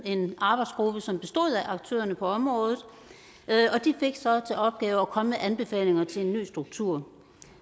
en arbejdsgruppe som bestod af aktørerne på området og de fik så til opgave at komme med anbefalinger til en ny struktur